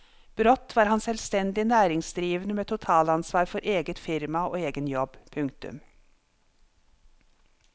Brått var han selvstendig næringsdrivende med totalansvar for eget firma og egen jobb. punktum